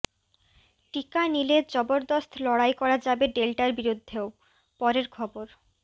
টিকা নিলে জবরদস্ত লড়াই করা যাবে ডেল্টার বিরুদ্ধেও পরের খবর